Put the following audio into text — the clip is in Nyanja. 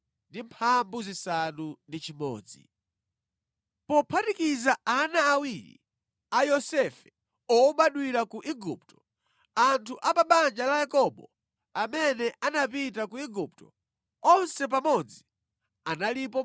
Pophatikiza ana awiri a Yosefe obadwira ku Igupto, anthu a pa banja la Yakobo amene anapita ku Igupto, onse pamodzi analipo 70.